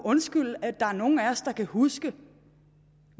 undskylde at der er nogle af os der kan huske